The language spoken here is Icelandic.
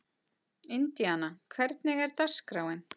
Indíana, hvernig er dagskráin?